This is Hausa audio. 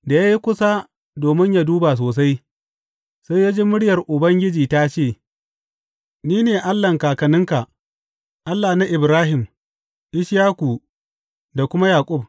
Da ya yi kusa domin ya duba sosai, sai ya ji muryar Ubangiji ta ce, Ni ne Allahn kakanninka, Allah na Ibrahim, Ishaku, da kuma Yaƙub.’